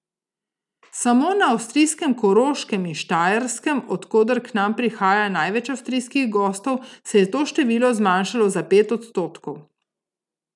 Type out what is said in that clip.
Samo na avstrijskem Koroškem in Štajerskem, od koder k nam prihaja največ avstrijskih gostov, se je to število zmanjšalo za pet odstotkov.